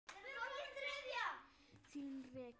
Þín Regína.